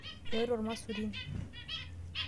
Eoto irmaisurin.